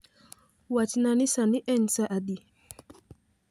Wachna ni sani en sa adi